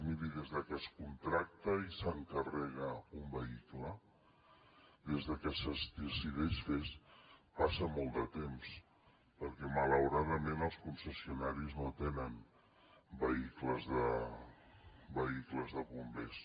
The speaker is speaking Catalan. miri des de que es contracta i s’encarrega un vehicle des de que es decideix fer passa molt de temps perquè malauradament els concessionaris no tenen vehicles de bombers